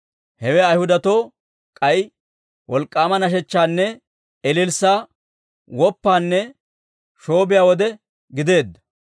Hewe Ayhudatoo k'ay wolk'k'aama nashechchaanne ililssaa, woppanne shoobiyaa wode gideedda.